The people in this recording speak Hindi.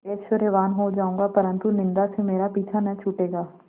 ऐश्वर्यवान् हो जाऊँगा परन्तु निन्दा से मेरा पीछा न छूटेगा